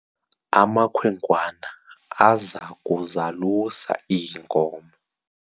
amakhwenkwana aza kuzalusa iinkomo